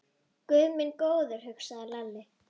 Guð minn góður, hugsaði Lalli.